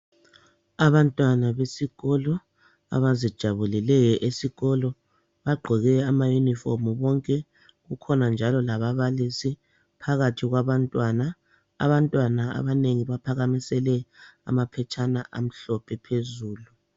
Abantwana besikolo abazijabuleleyo esikolo bagqoke amayunifomu bonke. Kukhona njalo lababalisi phakathi kwabantwana. Abantwana abanengi baohakamisele amaphetshana amhlophe phezulu